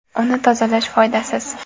Uni tozalash foydasiz.